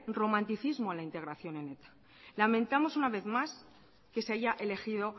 romanticismo a la integración en eta lamentamos una vez más que se haya elegido